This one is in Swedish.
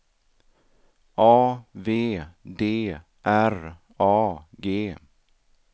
A V D R A G